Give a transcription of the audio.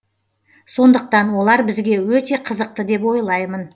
сондықтан олар бізге өте қызықты деп ойлаймын